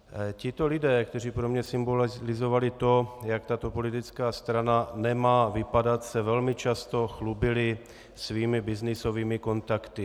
Tito lidé, kteří pro mě symbolizovali to, jak tato politická strana nemá vypadat, se velmi často chlubili svými byznysovými kontakty.